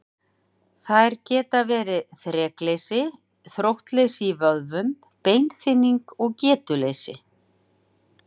Þær geta verið þrekleysi, þróttleysi í vöðvum, beinþynning og getuleysi.